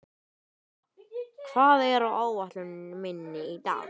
Finna, hvað er á áætluninni minni í dag?